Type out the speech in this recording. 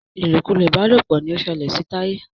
ilokulo ìbálòpọ̀ ní o ṣẹlẹ sí Taye.